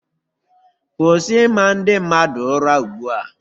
Kwụsị ịma ndị mmadụ ụra ugbua!